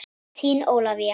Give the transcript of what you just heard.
Þín Ólafía.